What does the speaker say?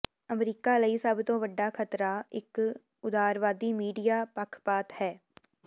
America ਲਈ ਸਭ ਤੋਂ ਵੱਡਾ ਖ਼ਤਰਾ ਇੱਕ ਉਦਾਰਵਾਦੀ ਮੀਡੀਆ ਪੱਖਪਾਤ ਹੈ